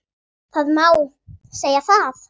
Það má segja það.